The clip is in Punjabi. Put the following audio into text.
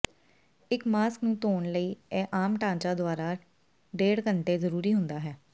ਇੱਕ ਮਾਸਕ ਨੂੰ ਧੋਣ ਲਈ ਇਹ ਆਮ ਢਾਂਚਾ ਦੁਆਰਾ ਡੇਢ ਘੰਟੇ ਜ਼ਰੂਰੀ ਹੁੰਦਾ ਹੈ